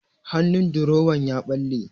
Hannun durowan ya ɓalle.